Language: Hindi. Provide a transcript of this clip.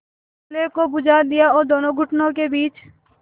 चूल्हे को बुझा दिया और दोनों घुटनों के बीच